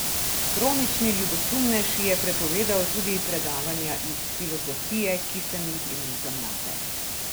Kronični ljubosumnež je prepovedal tudi predavanja iz filozofije, ki sem jih imel za mlade.